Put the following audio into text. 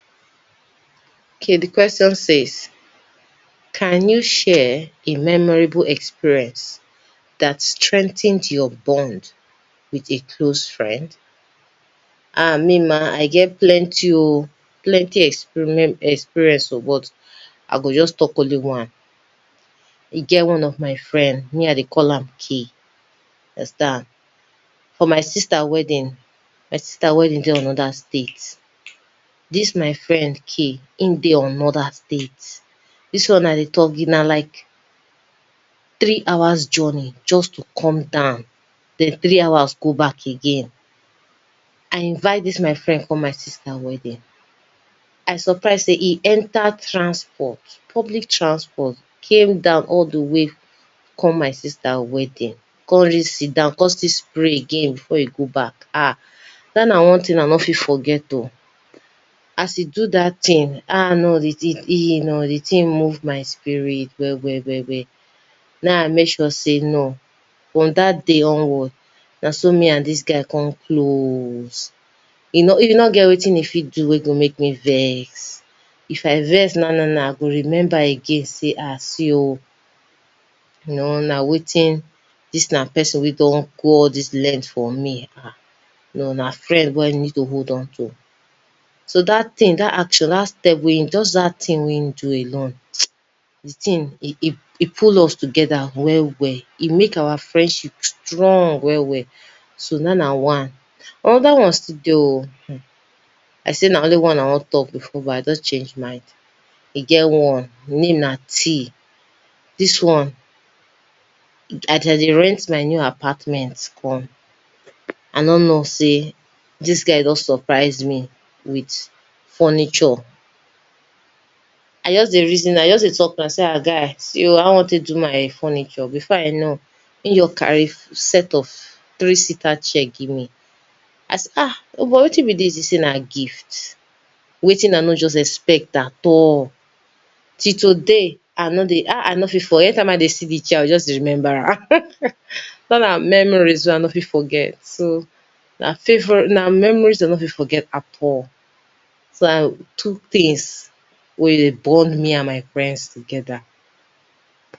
JSS 1-2 SECTION A: Short Vowels 1. Which short vowel sound is in the word sit? A. /ɪ/ B. /e/ C. /æ/ D. /i :/ 2. Which sound is found in the word pen? A. /ʊ/ B. /e/ C. /ɒ/ D. /ɑ :/ 3. Which vowel sound is heard in the word cat? A. /æ/ B. / aɪ / C. / eɪ / D. / ɛə / 4. What is the vowel sound in cup? A. /ʌ/ B. /æ/ C. /e/ D. /ɪ/ 5. The vowel sound in pot is: A. /ɒ/ B. /ɔ :/ C. /ə/ D. / aʊ / 6. What is the vowel sound in the word book? A. /ʊ/ B. /u :/ C. /ə/ D. /e/ 7. What is the vowel sound in about? A. /ə/ B. /ɒ/ C. /ʌ/ D. / aɪ / SECTION B: Long Vowels 8. The long vowel sound in seat is: A. /i :/ B. /ɪ/ C. /e/ D. /æ/ 9. What is the vowel sound in car? A. /ɑ :/ B. / eɪ / C. /ə/ D. /ɒ/ 10. Identify the vowel sound in law. A. /ɔ :/ B. /ɒ/ C. / aʊ / D. /ə/ 11. Which vowel sound is in the word food? A. /u :/ B. /ʊ/ C. /ɜ :/ D. /i :/ 12. Which of these words has the sound /ɜ :/? A. Bird B. Board C. Bat D. Bet SECTION C: Diphthongs 13. The sound in day is: A. / eɪ / B. / eə / C. /æ/ D. /i :/ 14. What diphthong is in the word high? A. / aɪ / B. / eɪ / C. / ɪə / D. / aʊ / 15. Identify the diphthong in boy. A. / ɔɪ / B. / oʊ / C. / ɪə / D. / eə / 16. What diphthong is in now? A. / aʊ / B. /ɔ :/ C. / əʊ / D. /u :/ 17. The word go has which diphthong? A. / əʊ / B. / aʊ / C. / ɪə / D. / eɪ / 18. The diphthong in idea is: A. / ɪə / B. / eɪ / C. / aɪ / D. / ɔɪ / 19. Which sound is in the word hair? A. / eə / B. / eɪ / C. / ɪə / D. / aʊ / 20. Identify the diphthong in tour (RP/British English). A. / ʊə / B. /u :/ C. / aʊ / D. / əʊ / SECTION D: Voiceless Consonants 21. Which voiceless consonant is in pen? A. /p/ B. /b/ C. /f/ D. /v/ 22. What is the sound at the beginning of top? A. /d/ B. /t/ C. /k/ D. /g/ 23. The final sound in back is: A. /k/ B. /g/ C. /t/ D. /d/ 24. What is the initial sound in fish? A. /f/ B. /v/ C. /θ/ D. /s/ 25. Which sound is in think? A. /θ/ B. /ð/ C. /s/ D. /z/ 26. What is the voiceless sound in sip? A. /s/ B. /z/ C. /ʃ/ D. /ʒ/ 27. The first sound in shoe is: A. /ʃ/ B. /s/ C. /z/ D. /ʒ/ 28. The initial sound in chair is: A. /ʧ/ B. /ʤ/ C. /k/ D. /s/ 29. What is the sound at the beginning of hat? A. /h/ B. /t/ C. /k/ D. /s/ SECTION E: Voiced Consonants 30. What sound is heard at the start of bat? A. /b/ B. /p/ C. /m/ D. /v/ 31. The final sound in bed is: A. /d/ B. /t/ C. /g/ D. /k/ 32. Which voiced sound ends the word bag? A. /g/ B. /k/ C. /b/ D. /d/ 33. The sound in van is: A. /v/ B. /f/ C. /b/ D. /w/ 34. Identify the voiced sound in this: A. /ð/ B. /θ/ C. /s/ D. /z/ 35. What is the final sound in nose? A. /z/ B. /s/ C. /ʃ/ D. /t/ 36. The final sound in garage (British RP) is: A. /ʒ/ B. /ʃ/ C. /s/ D. /g/ 37. What is the sound in joke? A. /ʤ/ B. /ʧ/ C. /k/ D. /g/ 38. What nasal sound begins the word man? A. /m/ B. /n/ C. /ŋ/ D. /b/ 39. Which nasal sound ends the word sun? A. /n/ B. /m/ C. /ŋ/ D. /l/ 40. What is the final sound in sing? A. /ŋ/ B. /n/ C. /g/ D. /m/ 41. What is the lateral sound in love? A. /l/ B. /r/ C. /w/ D. /j/ 42. Identify the liquid sound in red. A. /r/ B. /l/ C. /n/ D. /d/ 43. What is the glide in the word yes? A. /j/ B. /ʤ/ C. /y/ D. /i :/ 44. Which sound is in water? A. /w/ B. /v/ C. /r/ D. /f/